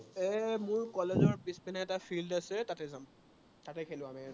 এৰ মোৰ college ৰ পিছপিনে এটা field আছে, তাতে যাম। তাতে খেলো আমি সদায়।